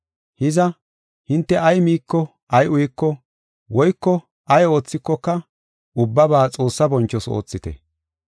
Hiza, hinte ay miiko ay uyiko, woyko ay oothikoka ubbaba Xoossa bonchoos oothite.